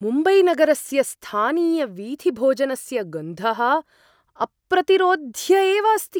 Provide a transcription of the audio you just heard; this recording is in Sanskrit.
मुम्बैनगरस्य स्थानीयवीथिभोजनस्य गन्धः अप्रतिरोध्य एव अस्ति!